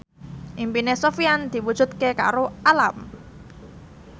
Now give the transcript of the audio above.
impine Sofyan diwujudke karo Alam